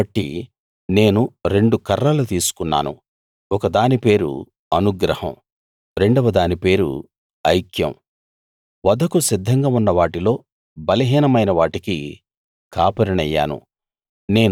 కాబట్టి నేను రెండు కర్రలు తీసుకున్నాను ఒక దాని పేరు అనుగ్రహం రెండవ దాని పేరు ఐక్యం వధకు సిద్ధంగా ఉన్న వాటిలో బలహీనమైన వాటికి కాపరినయ్యాను